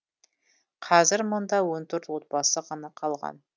қазір мұнда он төрт отбасы ғана қалған